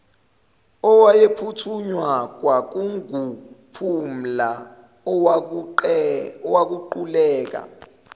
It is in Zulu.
owayephuthunywa kwakunguphumla owaquleka